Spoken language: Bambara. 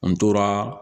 An tora